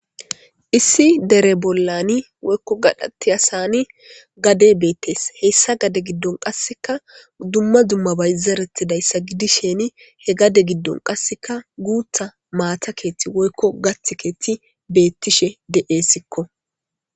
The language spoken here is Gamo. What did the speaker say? Issi dere bollani woykko gaxaattiyasani gade beettees. Heyssa gade giddon qasseka dumma dumma bayzarettida iza gidisheni he gade giddon qasikka guutta maata keeti woykko gatta keetti beettishe de'essikko.